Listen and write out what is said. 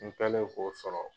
N kɛlen k'o sɔrɔ